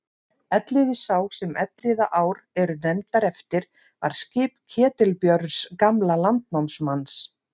Elliði sá sem Elliðaár eru nefndar eftir var skip Ketilbjörns gamla landnámsmanns.